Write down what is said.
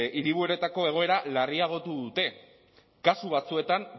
hiriburuetako egoera larriagotu dute kasu batzuetan